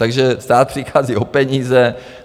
Takže stát přichází o peníze.